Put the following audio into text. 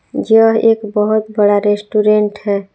जो एक बहोत बड़ा रेस्टोरेंट है।